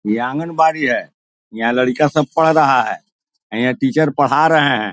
ये आंगनबाड़ी है यहाँ लड़कियां सब पढ़ रहा है यहाँ टीचर पढ़ा रहे हैं।